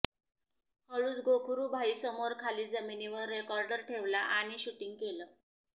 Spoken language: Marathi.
हळूच गोखरू भाई समोर खाली जमिनीवर रेकॉर्डर ठेवला आणि शुटींग केलं